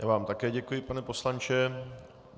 Já vám také děkuji, pane poslanče.